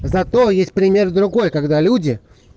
зато есть пример другой когда люди